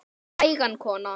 Hægan kona!